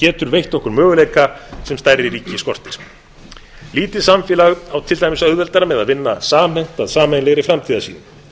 getur veitt okkur möguleika sem stærri ríki skortir lítið samfélag á til dæmis auðveldara með að vinna samhent að sameiginlegri framtíðarsýn